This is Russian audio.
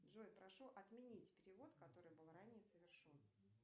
джой прошу отменить перевод который был ранее совершен